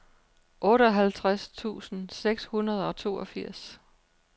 otteoghalvtreds tusind seks hundrede og toogfirs